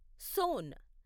సోన్